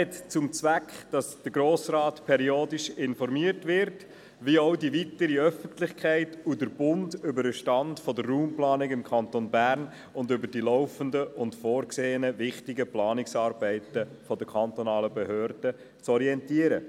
Sein Zweck ist es, den Grossen Rat, die weitere Öffentlichkeit und auch den Bund periodisch über den Stand der Raumplanung im Kanton Bern zu informieren und über die laufenden und vorgesehenen wichtigen Planungsarbeiten der kantonalen Behörde zu orientieren.